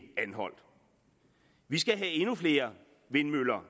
anholt vi skal have endnu flere vindmøller